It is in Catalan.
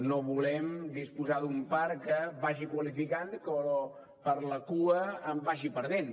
no volem disposar d’un parc que vagi qualificant però per la cua en vagi perdent